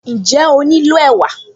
Ǹjẹ́ ó nílò ẹ̀wà?